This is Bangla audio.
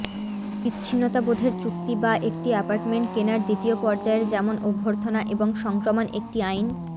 বিচ্ছিন্নতাবোধের চুক্তি বা একটি অ্যাপার্টমেন্ট কেনার দ্বিতীয় পর্যায়ের যেমন অভ্যর্থনা এবং সংক্রমণ একটি আইন